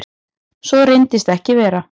Svo reyndist ekki vera.